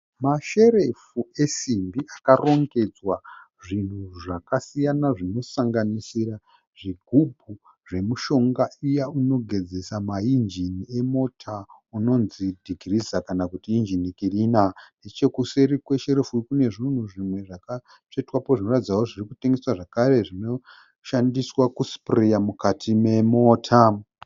Masherefu esimbi akarongedzwa. Zvinhu zvaka siyana zvinosanganisira zvigubhu zvemushonga iya inogezesa ma engine emota unonzi degreeser kana kuti engine cleaner. Nechekuseri kwe sherefu Kune zvinhu zvimwe zvakatsvetwa po zvinoratidza zve zvirikutengeswa zvakare zvinoshandiswa ku sprayer mukati memota.